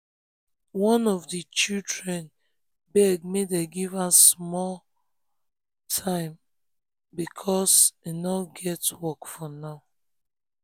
one of the children beg make dem give am time small because e no um get work for now